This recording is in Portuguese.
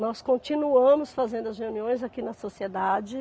Nós continuamos fazendo as reuniões aqui na sociedade.